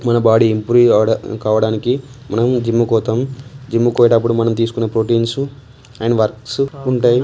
మన body improve ఆవడ కావడానికి మనం జిమ్ కుపోతాం జిమ్ పోయేటప్పుడు మనం తీసుకునే ప్రొటీన్సు అండ్ వర్క్స్ ఉంటాయి.